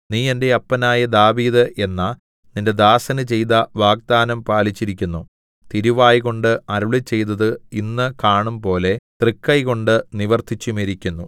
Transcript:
നീ എന്റെ അപ്പനായ ദാവീദ് എന്ന നിന്റെ ദാസന് ചെയ്ത വാഗ്ദാനം പാലിച്ചിരിക്കുന്നു തിരുവായ്കൊണ്ട് അരുളിച്ചെയ്തത് ഇന്ന് കാണുംപോലെ തൃക്കൈകൊണ്ട് നിവർത്തിച്ചുമിരിക്കുന്നു